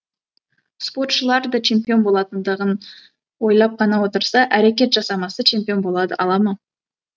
спортшылар да чемпион болатындығын ойлап қана отырса әрекет жамсамаса чемпион болады ала ма